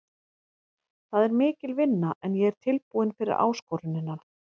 Það er mikil vinna en ég er tilbúinn fyrir áskorunina.